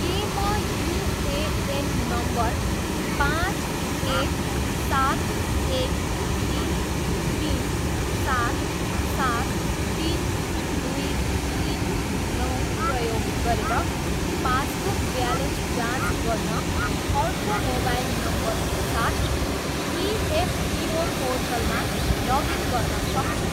के म UAN number पाँच एक सात एक तिन तिन सात सात तिन दुई तिन नौ प्रयोग गरेर पासबुक ब्यालेन्स जाँच गर्न अर्को मोबाइल नम्बरको साथ इएफपिओ पोर्टलमा लगइन गर्न सक्छु?